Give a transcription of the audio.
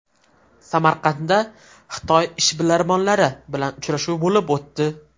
Samarqandda Xitoy ishbilarmonlari bilan uchrashuv bo‘lib o‘tdi.